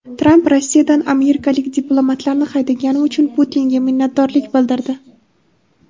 Tramp Rossiyadan amerikalik diplomatlarni haydagani uchun Putinga minnatdorlik bildirdi.